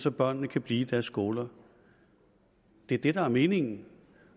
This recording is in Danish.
at børnene kan blive i deres skoler det er det der er meningen